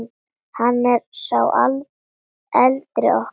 Hann er sá eldri okkar.